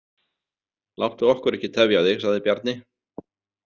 Láttu okkur ekki tefja þig, sagði Bjarni.